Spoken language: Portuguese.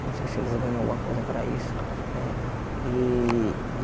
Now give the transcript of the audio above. Eu não sei se eles ganham alguma coisa para isso, né? E